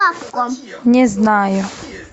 не знаю